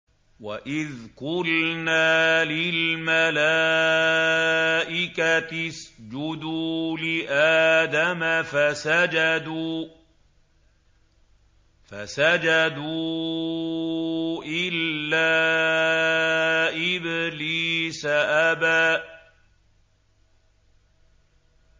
وَإِذْ قُلْنَا لِلْمَلَائِكَةِ اسْجُدُوا لِآدَمَ فَسَجَدُوا إِلَّا إِبْلِيسَ أَبَىٰ